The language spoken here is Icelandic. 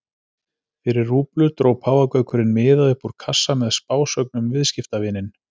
Fyrir rúblu dró páfagaukurinn miða upp úr kassa með spásögn um viðskiptavininn.